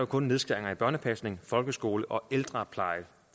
kun nedskæringer i børnepasning folkeskole og ældrepleje